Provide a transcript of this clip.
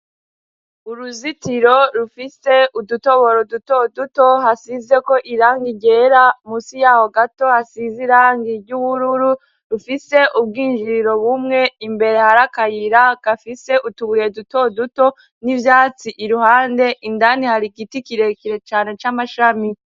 Uruzitiro rufise udutoboro duto duto hasizeko irangi ryera munsi yaho gato hasize irangi ry'ubururu, rufise ubwinjiriro bumwe imbere harakayira kafise utubuye duto duto n'ivyatsi iruhande, indani hari igiti kirekire cane c'amashami.